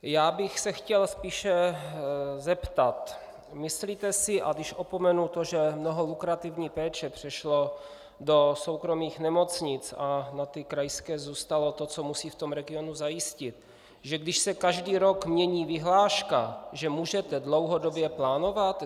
Já bych se chtěl spíše zeptat: Myslíte si, a když opomenu to, že mnoho lukrativní péče přešlo do soukromých nemocnic a na ty krajské zůstalo to, co musí v tom regionu zajistit, že když se každý rok mění vyhláška, že můžete dlouhodobě plánovat?